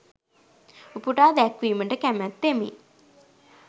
උපුටා දැක්වීමට කැමැත්තෙමි.